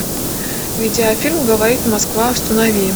видеофильм говорит москва установи